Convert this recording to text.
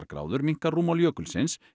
gráður minnkar rúmmál jökulsins